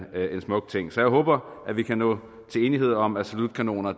smuk ting så jeg håber at vi kan nå til enighed om at salutkanoner